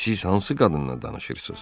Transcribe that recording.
Siz hansı qadından danışırsız?